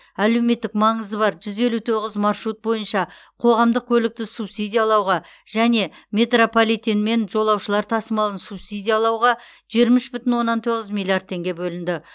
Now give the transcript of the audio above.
әлеуметтік маңызы бар жүз елу тоғыз маршрут бойынша қоғамдық көлікті субсидиялауға және метрополитенмен жолаушылар тасымалын субсидиялауға жиырма үш бүтін оннан тоғыз миллиард теңге бөлінді